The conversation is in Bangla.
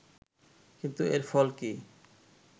কিন্তু এর ফল কি